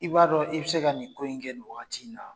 I b'a dɔn i bi se ka nin ko in kɛ in wagati in na